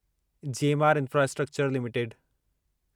GMR infrastructure limited